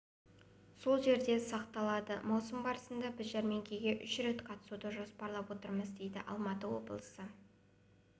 сол жерде сақталады маусым барысында біз жәрмеңкеге үш рет қатысуды жоспарлап отырмыз дейді алматы облысы